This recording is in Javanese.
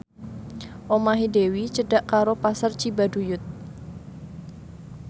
omahe Dewi cedhak karo Pasar Cibaduyut